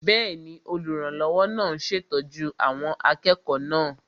Bẹ́ẹ̀ni, olùrànlọ́wọ́ náà ń ṣètọ́jú àwọn akẹ́kọ̀ọ́ náà